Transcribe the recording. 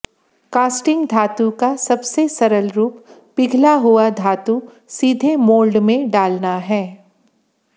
casting धातु का सबसे सरल रूप पिघला हुआ धातु सीधे मोल्ड में डालना है